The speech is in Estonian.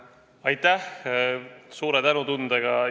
Aitäh!